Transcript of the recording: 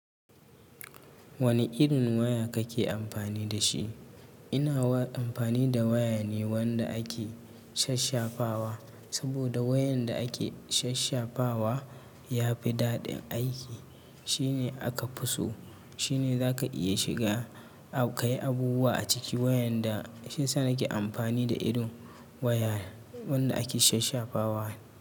Wane irin waya kake amfani da shi? Ina amfani da waya ne wanda ake sasshafawa. Saboda wayan da ake shasshafawa ya fi daɗin aiki. Shi ne aka fi so. Shi ne zaka iya shiga ka yi abubuwa a ciki. Shi ya sa nake amfani da irin waya wanda ake shasshafawa.